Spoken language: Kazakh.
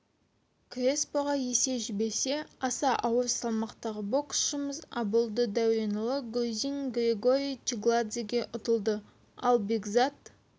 креспоға есе жіберсе аса ауыр салмақтағы боксшымыз аболды дәуренұлы грузин георгий чигладзеге ұтылды ал бекзат